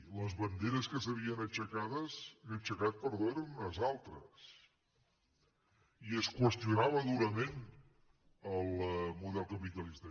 i les banderes que s’havien aixecat eren unes altres i es qüestionava durament el model capitalista